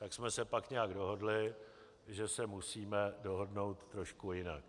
Tak jsme se pak nějak dohodli, že se musíme dohodnout trošku jinak.